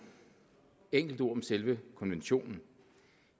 enkelte ord om selve konventionen